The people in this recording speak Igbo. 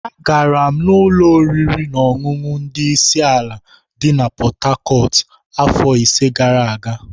Agara m ụlọ oriri na ọṅụṅụ ndi isi ala di na Pot-Tarcot afọ ise gara aga.